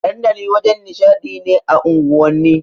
Dandali wajen nishaɗi ne a unguwanni.